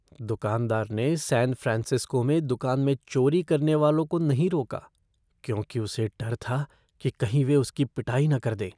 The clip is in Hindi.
दुकानदार ने सैन फ़्रांसिस्को में दुकान में चोरी करने वालों को नहीं रोका क्योंकि उसे डर था कि कहीं वे उसकी पिटाई न कर दें।